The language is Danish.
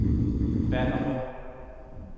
Ballerup